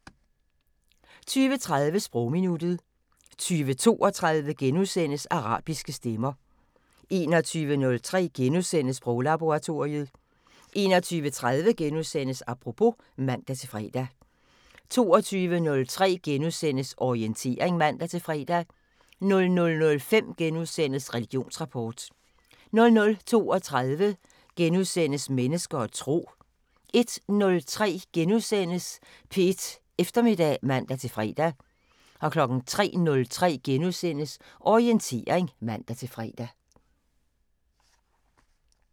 20:30: Sprogminuttet 20:32: Arabiske stemmer * 21:03: Sproglaboratoriet * 21:30: Apropos *(man-fre) 22:03: Orientering *(man-fre) 00:05: Religionsrapport * 00:32: Mennesker og Tro * 01:03: P1 Eftermiddag *(man-fre) 03:03: Orientering *(man-fre)